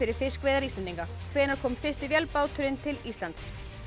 fiskveiðar Íslendinga hvenær kom fyrsti vélbáturinn til Íslands